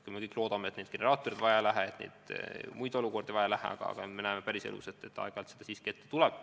Me kõik loodame, et generaatoreid vaja ei lähe, et muid keerulisi olukordi ei teki, aga me näeme, et päris elus aeg-ajalt seda siiski ette tuleb.